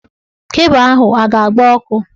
Kebụ ahụ a ga-agba ọkụ?